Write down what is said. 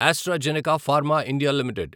AstraZeneca pharma India limited